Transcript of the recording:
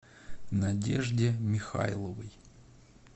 надежде михайловой